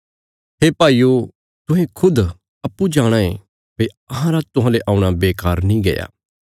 हे भाईयो तुहें खुद जाणाँ ये भई अहांरा तुहांले औणा बेकार नीं गया